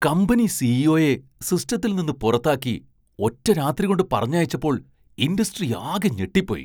Company സി.ഇ.ഒ.യെ സിസ്റ്റത്തിൽ നിന്ന് പുറത്താക്കി ഒറ്റരാത്രികൊണ്ട് പറഞ്ഞയച്ചപ്പോൾ ഇൻഡസ്ട്രി ആകെ ഞെട്ടിപ്പോയി.